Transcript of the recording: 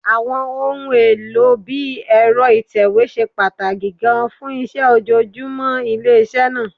Àwọn ohun èlò bí ẹ̀rọ ìtẹ̀wé ṣe pàtàkì gan-an fún iṣẹ́ ojoojúmọ́ iléeṣẹ́ náà